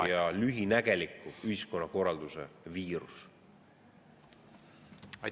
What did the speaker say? … ja lühinägeliku ühiskonnakorralduse viirus.